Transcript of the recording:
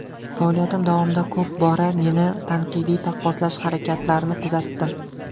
Faoliyatim davomida ko‘p bora meni tanqidiy taqqoslash harakatlarini kuzatdim.